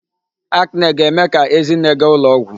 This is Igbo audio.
Acne ga-eme ka Ezinne gaa ụlọ ọgwụ.